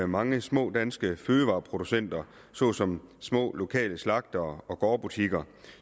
mange små danske fødevareproducenter såsom små lokale slagtere og gårdbutikker